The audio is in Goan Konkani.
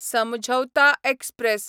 समझौता एक्सप्रॅस